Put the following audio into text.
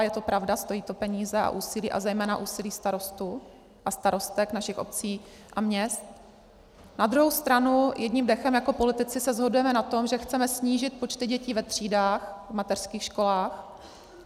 A je to pravda, stojí to peníze a úsilí, a zejména úsilí starostů a starostek našich obcí a měst, na druhou stranu jedním dechem jako politici se shodujeme na tom, že chceme snížit počty dětí ve třídách v mateřských školách.